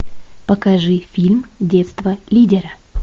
покажи фильм детство лидера